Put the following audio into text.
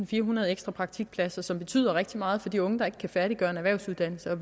firehundrede ekstra praktikpladser som betyder rigtig meget for de unge der ikke kan færdiggøre en erhvervsuddannelse og